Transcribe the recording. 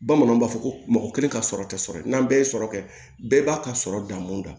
Bamananw b'a fɔ ko mɔgɔ kelen ka sɔrɔ tɛ sɔrɔ ye n'an bɛɛ ye sɔrɔ kɛ bɛɛ b'a ka sɔrɔ da mun na